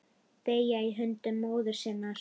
Deyja í höndum móður sinnar.